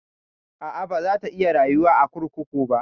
A'a, baza ta iya rayuwa a kurkuku ba.